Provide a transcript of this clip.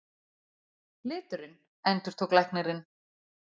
Liturinn, endurtók læknirinn.